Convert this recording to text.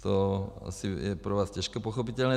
To je asi pro vás těžko pochopitelné.